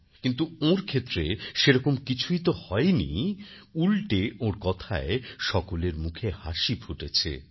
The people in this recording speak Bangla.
কিন্তু ওঁর ক্ষেত্রে সেরকম কিছু তো হয়ইনি উলটে ওঁর কথায় সকলের মুখে হাসি ফুটেছে